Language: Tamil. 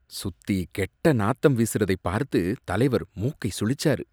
சுத்தி கெட்ட நாத்தம் வீசுறதை பார்த்து தலைவர் மூக்கை சுளிச்சாரு.